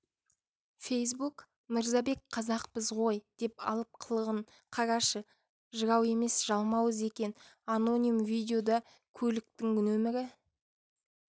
фейсбук мырзабек қазақпыз ғой деп алып қылығын қарашы жырау емес жалмауыз екен аноним видеода көліктің нөмірі